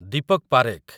Deepak Parekh